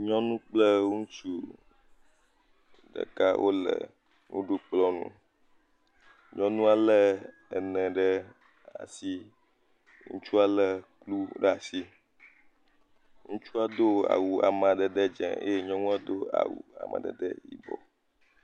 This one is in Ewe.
Nyɔnu kple ŋutsu ɖeka wo le nuɖukplɔ nu. Nyɔnua le ene ɖe asi. Ŋutsua le nu bubu ɖe asi. Ŋutsua do awu amadede dze eye nyɔnu a do awu amadede yibɔ.